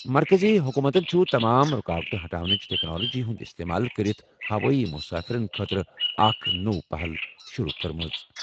مرکٔزی حکوٗمتَن چھُ تمام رُکاوٹہٕ ہٹاونٕچ ٹیکنالوجی ہُنٛد استعمال کٔرِتھ ہوٲیی مُسافِرن خٲطرٕ اکھ نوٚو پہل شُروٗع کوٚرمُت۔